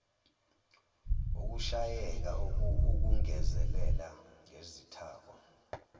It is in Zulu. ukushayeka ukungezelela ngezithako